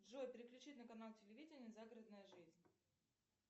джой переключи на канал телевидение загородная жизнь